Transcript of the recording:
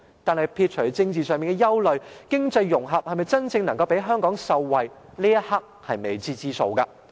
但是，撇除政治上的憂慮，經濟融合能否真正讓香港受惠，這一刻仍是未知之數。